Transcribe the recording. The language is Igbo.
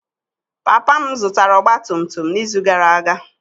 Papa m zụtara ọgba tum tum n'izu gara aga.